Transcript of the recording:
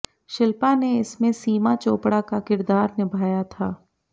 शिल्पा ने इसमें सीमा चोपड़ा का किरदार निभाया था